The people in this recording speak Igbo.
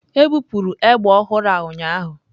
Ebupụrụ egbe ọhụrụ a ụnyaahụ.